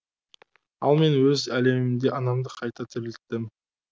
ал мен өз әлемімде анамды қайта тірілттім